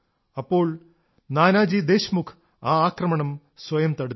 അപ്പോൾ നാനാജി ദേശ്മുഖ് ആ ആക്രമണം സ്വയം തടുത്തു